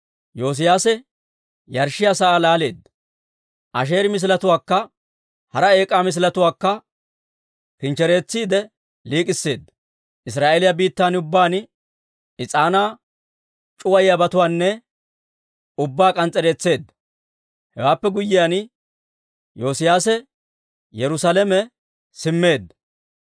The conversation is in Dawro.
Yoosiyaase yarshshiyaa sa'aa laaleedda; Asheeri misiletuwaakka hara eek'aa misiletuwaakka kinchchereetsiide liik'isseedda. Israa'eeliyaa biittan ubbaan is'aanaa c'uwayiyaabatuwaa ubbaa k'ans's'ereetseedda. Hewaappe guyyiyaan, Yoosiyaase Yerusaalame simmeedda.